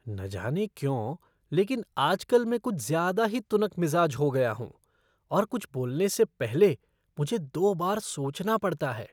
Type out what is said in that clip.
न जाने क्यों, लेकिन आजकल मैं कुछ ज्यादा ही तुनकमिज़ाज हो गया हूँ और कुछ बोलने से पहले मुझे दो बार सोचना पड़ता है।